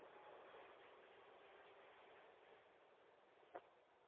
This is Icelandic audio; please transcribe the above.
Eigum við að láta þá rústa okkur?